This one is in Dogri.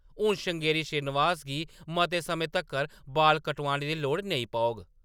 हुन श्रृंगेरी श्रीनिवास गी मते समें तक्कर बाल कटोआने दी लोड़ नेईं पौग ।